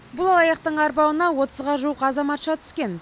бұл алаяқтың арбауына отызға жуық азаматша түскен